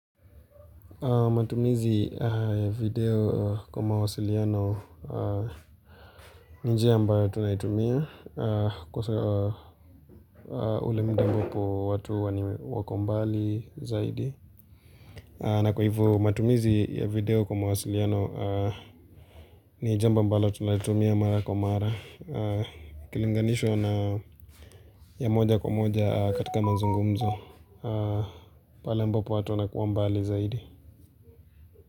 Matumizi ya video kwa mawasiliano ni njia ambayo tunaitumia kwa ule muda ambapo watu wako mbali zaidi. Na kwa hivyo matumizi ya video kwa mawasiliano ni jambo ambalo tunalitumia mara kwa mara, ikilinganishwa na ya moja kwa moja katika mazungumzo pale ambapo watu wanakuwa mbali zaidi.